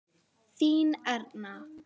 Þín Erna.